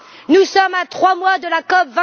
Nous sommes à trois mois de la COP